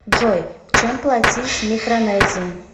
джой чем платить в микронезии